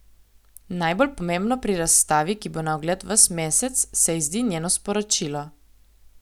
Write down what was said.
Najbolj pomembno pri razstavi, ki bo na ogled ves mesec, se ji zdi njeno sporočilo.